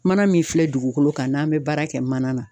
Mana min filɛ dugukolo kan n'an be baara kɛ mana na